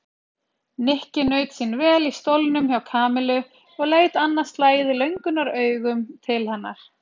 Nikki naut sín vel í stólnum hjá Kamillu og leit annað slagið löngunaraugum til hennar.